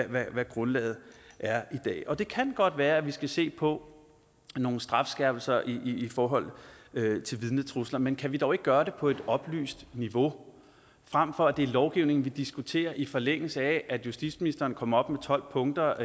hvad grundlaget er i dag det kan godt være vi skal se på nogle strafskærpelser i forhold til vidnetrusler men kan vi dog ikke gøre det på et oplyst niveau frem for at det er lovgivning vi diskuterer i forlængelse af at justitsministeren kommer op med tolv punkter